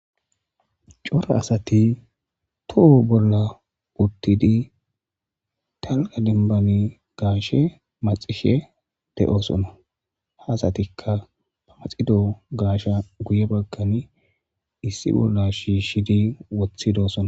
cora asati toho bolla uttidi talka dembani gaashe maxishe de7oosonna haasatikka ba maxido gaasha guye bakkani issi bolla shiishidi woththidosona